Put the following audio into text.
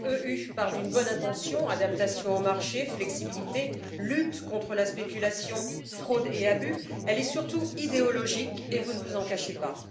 .eu part d'une bonne intention adaptation au marché, flexibilité, lutte contre la spéculation, fraude et abus, elle est surtout idéologique et vous ne vous en cachez pas.